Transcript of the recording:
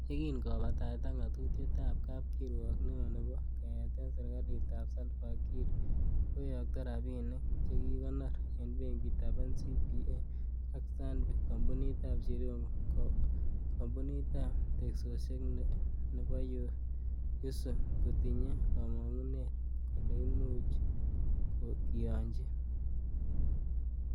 Yekin kobataita ngatutietab kapkiprwok neo nebo keyeten serkalit ab Salva kiir koyokto rabinik chekikonor en benkitab NCBA ak Stanbic, kompunit ab Jirongo, kompunitab teksosiek nebo Yu sung kotinye komongunet kole imuch kiyonchi .